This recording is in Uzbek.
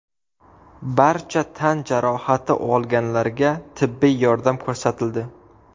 Barcha tan jarohati olganlarga tibbiy yordam ko‘rsatildi.